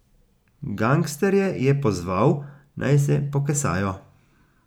Gangsterje je pozval, naj se pokesajo.